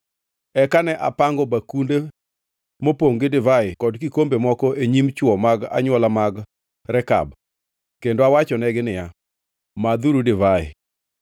Eka ne apango bakunde mopongʼ gi divai kod kikombe moko e nyim chwo mag anywola mag Rekab kendo awachonegi niya, “Madhuru divai.”